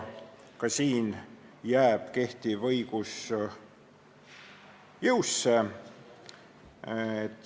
Ka siin jääb jõusse kehtiv õigus.